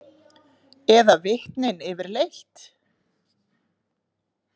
Eða vitnin yfirleitt?